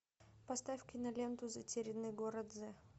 поставь киноленту затерянный город з